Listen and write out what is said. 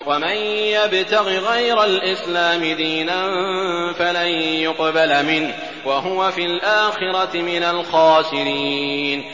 وَمَن يَبْتَغِ غَيْرَ الْإِسْلَامِ دِينًا فَلَن يُقْبَلَ مِنْهُ وَهُوَ فِي الْآخِرَةِ مِنَ الْخَاسِرِينَ